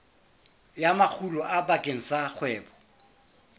ya makgulo bakeng sa kgwebo